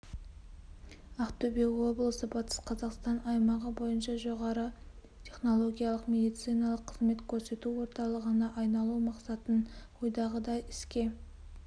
ақтөбе облысы батыс қазақстан аймағы бойынша жоғары технологиялық медициналық қызмет көрсету орталығына айналу мақсатын ойдағыдай іске